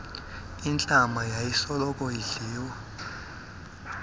intlama yayisoloko idliwa